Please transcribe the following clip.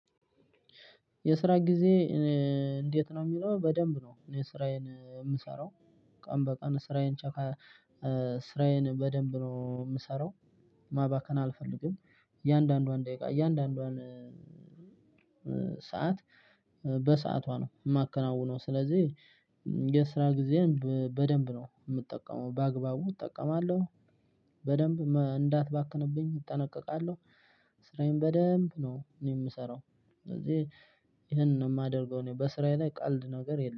የስራ ጊዜ እኔ እንዴት ነው የሚለው? በደንብ ነው እኔ ስራዬን የምሰራው ቀን በቀን ስራዬን ስራዬን በደንብ ነው የምሰራው። ማባከን አልፈልግም እያንዳንዷን ደቂቃ እያንዳንዷን ሰዓት በሰዓቷ ነው የማከናውነው ስለዚህ የስራ ጊዜን በደንብ ነው የምጠቀመው። በአግባቡ እጠቀማለሁ በደንብ እንዳትባክንብኝ እጠነቀቃለሁ። ስራዬን በደንብ ነው እኔ የምሰራው ስለዚህ ይሄንን ነው የማደርገው በስራዬ ላይ ቀልድ ነገር የለም!